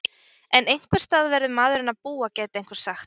En einhversstaðar verður maðurinn að búa gæti einhver sagt?